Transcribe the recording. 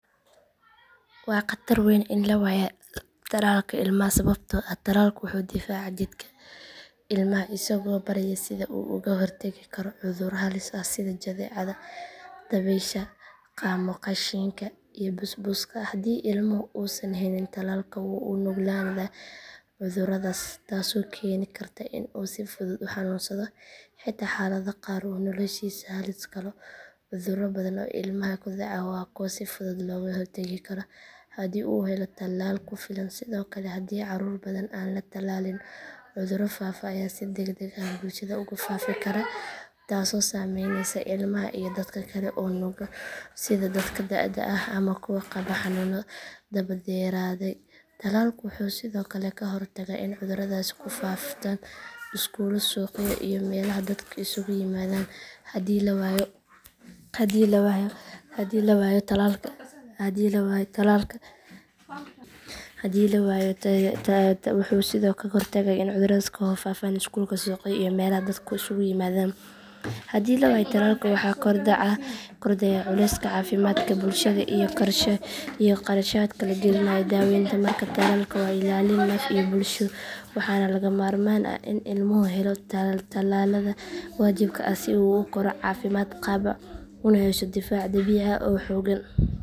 Waa khatar weyn in la waayo tallaalka ilmaha sababtoo ah tallaalku wuxuu difaacaa jidhka ilmaha isagoo baraya sida uu uga hortagi karo cudurro halis ah sida jadeecada dabaysha qaamoqashiinka iyo busbuska haddii ilmuhu uusan helin tallaal wuu u nuglaadaa cudurradaas taasoo keeni karta in uu si fudud u xanuunsado xitaa xaalado qaar uu noloshiisa halis galo cudurro badan oo ilmaha ku dhaca waa kuwo si fudud looga hortagi karo haddii uu helo tallaal ku filan sidoo kale haddii carruur badan aan la tallaalin cudurro faafa ayaa si degdeg ah bulshada ugu faafi kara taasoo saameyneysa ilmaha iyo dadka kale ee nugul sida dadka da’da ah ama kuwa qaba xanuunno daba dheeraaday tallaalku wuxuu sidoo kale ka hortagaa in cudurradaasi ku faaftaan iskuullo suuqyo iyo meelaha dadku isugu yimaadaan haddii la waayo tallaalka waxaa kordhaya culayska caafimaadka bulshada iyo kharashaadka la gelinayo daawaynta markaa tallaalka waa ilaalin naf iyo bulsho waxaana lagama maarmaan ah in ilmuhu helo tallaalada waajibka ah si uu u koro caafimaad qaba una yeesho difaac dabiici ah oo xoogan